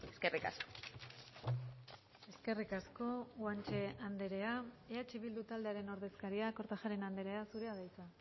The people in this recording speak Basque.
eskerrik asko eskerrik asko guanche andrea eh bildu taldearen ordezkaria kortajarena andrea zurea da hitza